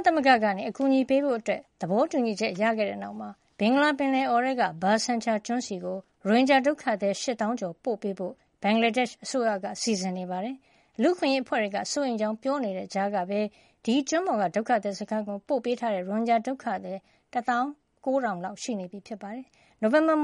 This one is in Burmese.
သမဂ္ဂက အကူညီပေးဖို့ သဘောတူညီချက်ရခဲ့တဲ့နောက် ဘင်္ဂလားပင်လယ်အော်ထဲက ဘာဆန်ချာကျွန်းဆီကို ရိုဟင်ဂျာ ဒုက္ခသည် ၈၀ ၀၀၀ ကျော် ပို့ ပေးဖို့ ဘင်္ဂလားဒက်ရှ်အစိုးရက စီစဉ်နေပါတယ်။ လူ့အခွင့်ရေးအဖွဲ့တွေက စိုးရိမ်ကြောင်း ပြောနေတဲ့ ကြားက ဒီကျွန်းပေါ်က ဒုက္ခသည်စခန်းကိုပို့ပေးထားတဲ့ ရိုဟင်ဂျာဒုက္ခသည်က ၁၉ ၀၀၀ လောက်ရှိနေပြီဖြစ်ပါတယ်။ နိုဝင်ဘာ